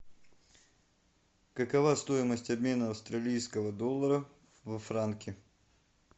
какова стоимость обмена австралийского доллара во франки